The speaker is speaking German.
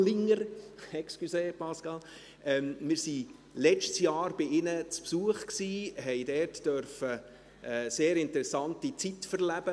Wir waren letztes Jahr bei ihnen zu Besuch und durften dort eine sehr interessante Zeit erleben.